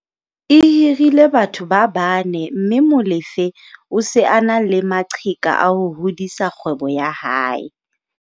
E hirile batho ba bane mme Molefe o se a na le maqheka a ho hodisa kgwebo ya hae.